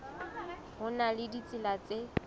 ho na le ditsela tse